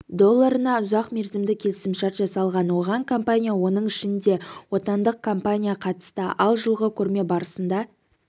долларына ұзақмерзімді келісімшарт жасалған оған компания оның ішінде отандық компания қатысты ал жылғы көрме барысында